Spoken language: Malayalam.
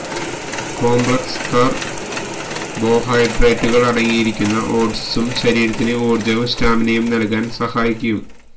കോംപ്ലക്സ് കാര്ബോഹൈഡ്രേറ്റുകള് അടങ്ങിയിരിക്കുന്ന ഓട്സും ശരീരത്തിന് ഊര്ജവും സ്റ്റാമിനയും നല്കാന് സഹായിക്കും